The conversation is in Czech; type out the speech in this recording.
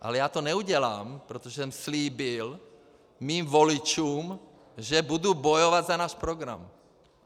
Ale já to neudělám, protože jsem slíbil svým voličům, že budu bojovat za náš program.